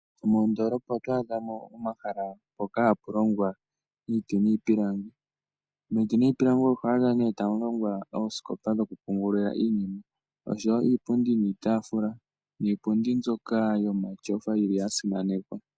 Moondoolopa oto adha mo omahala mpoka hapu longwa iiti niipilangi. Miiti niipilangi oho adha ta mu longwa oosikopa dhokupungula iinima , iipundi niitaafula noshowo iipundi yomatyofa mbyoka ya simanekwa.